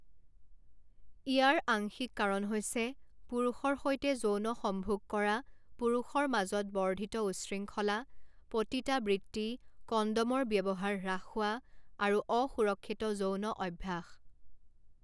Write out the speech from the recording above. ইয়াৰ আংশিক কাৰণ হৈছে পুৰুষৰ সৈতে যৌন সম্ভোগ কৰা পুৰুষৰ মাজত বৰ্ধিত উচ্ছৃংখলা, পতিতা বৃত্তি, কন্ডমৰ ব্যৱহাৰ হ্ৰাস হোৱা, আৰু অসুৰক্ষিত যৌন অভ্যাস।